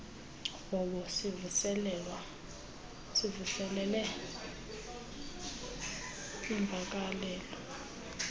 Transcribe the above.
hobo zivuselele iimvakalelo